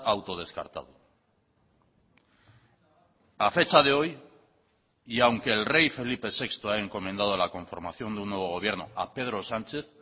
autodescartado a fecha de hoy y aunque el rey felipe sexto ha encomendado la conformación de un nuevo gobierno a pedro sánchez